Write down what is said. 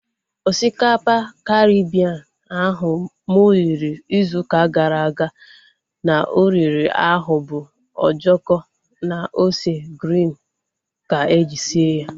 Osikapa Karibien ahụ mụ riri ịzụ ụka gara aga na oriri ahụ bu ojoko na ose griin ka eji sie ya